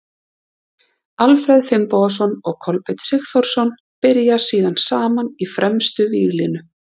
Alfreð Finnbogason og Kolbeinn Sigþórsson byrja síðan saman í fremstu víglínu.